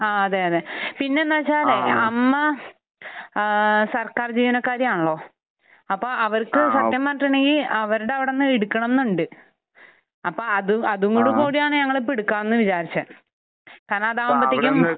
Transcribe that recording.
ആഹ്. അതെ. അതെ. പിന്നെ എന്താണെന്ന് വെച്ചാലേ അമ്മ ഏഹ് സർക്കാർ ജീവനക്കാരിയാണല്ലോ. അപ്പോൾ അവർക്ക് സത്യം പറഞ്ഞിട്ടുണ്ടെങ്കിൽ അവരുടെ അവിടെ നിന്ന് എടുക്കണമെന്നുണ്ട്. അപ്പോൾ അതും കൂടെ കൂടിയാണ് ഞങ്ങൾ ഇപ്പോൾ എടുക്കാമെന്ന് വിചാരിച്ചത്. കാരണം അതാവുമ്പോഴത്തേക്കും